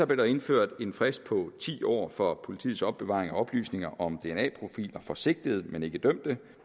der indført en frist på ti år for politiets opbevaring af oplysninger om dna profiler for sigtede men ikke dømte